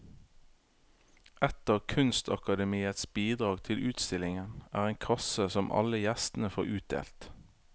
Et av kunstakademiets bidrag til utstillingen er en kasse som alle gjestene får utdelt.